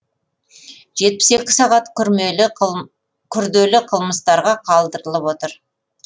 жетпіс екі сағат күрделі қылмыстарға қалдырылып отыр